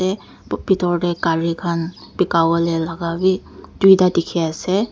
bethor te gari khan beka bole laga bhi duita dekhi ase.